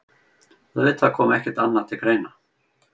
Auðvitað kom ekkert annað til greina.